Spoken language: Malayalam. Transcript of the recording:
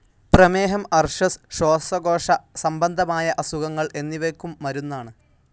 പ്രമേഹം, അർശസ്, ശ്വാസകോശസംബന്ധമായ അസുഖങ്ങൾ എന്നിവയ്ക്കും മരുന്നാണ്.